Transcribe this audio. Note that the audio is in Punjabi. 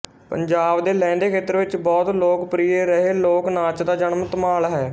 ਪੰਜਾਬ ਦੇ ਲਹਿੰਦੇ ਖੇਤਰ ਵਿੱਚ ਬਹੁਤ ਲੋਕਪ੍ਰਿਯ ਰਹੇ ਲੋਕ ਨਾਚ ਦਾ ਨਾਮ ਧਮਾਲ ਹੈ